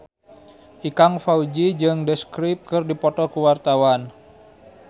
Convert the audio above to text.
Ikang Fawzi jeung The Script keur dipoto ku wartawan